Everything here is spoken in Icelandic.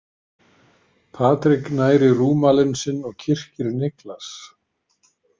Patrik nær í rúmalinn sinn og kyrkir Niklas.